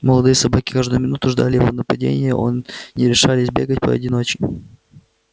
молодые собаки каждую минуту ждали его нападения он не решались бегать поодиночке